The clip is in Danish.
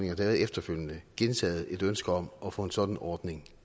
har været efterfølgende gentaget et ønske om at få en sådan ordning